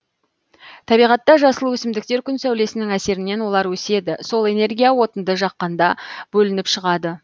табиғатта жасыл өсімдіктер күн сәулесінің әсерінен олар өседі сол энергия отынды жаққанда бөлініп шығады